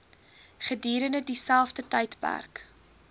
gedurende dieselfde tydperk